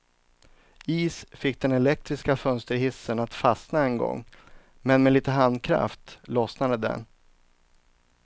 Is fick den elektriska fönsterhissen att fastna en gång, men med lite handkraft lossnade den.